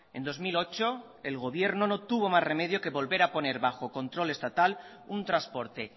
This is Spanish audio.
en dos mil ocho el gobierno no tuvo más remedio que volver a poner bajo control estatal un transporte